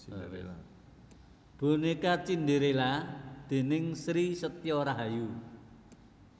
Bonéka Cindérélla déning Sri Setyo Rahayu